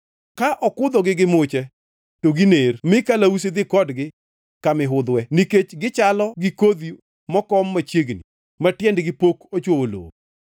Ka okudhogi gi muche to giner mi kalausi dhi kodgi ka mihudhwe, nikech gichalo gi kodhi mokom machiegni, ma tiendgi pok ochwowo lowo.